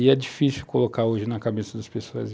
E é difícil colocar hoje na cabeça das pessoas.